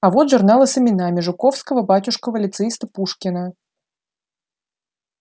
а вот журналы с именами жуковского батюшкова лицеиста пушкина